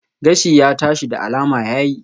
Gashi ya tashi, da alama ya yi